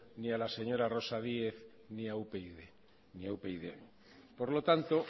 ni a la señora rosa díez ni a upyd ni a upyd por lo tanto